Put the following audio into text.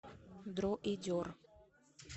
дроидер